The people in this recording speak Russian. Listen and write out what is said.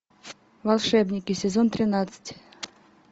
волшебники сезон тринадцать